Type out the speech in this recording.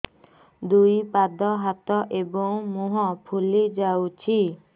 ଦୁଇ ପାଦ ହାତ ଏବଂ ମୁହଁ ଫୁଲି ଯାଉଛି